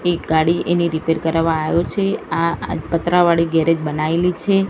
એ ગાડી એની રીપેર કરવા આયો છે આ પતરાવાળી ગેરેજ બનાવેલી છે.